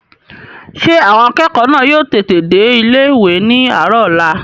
Ṣé àwọn akẹ́kọ̀ọ́ náà yóò tètè dé ilé-ìwé ní àárọ̀ ọ̀la?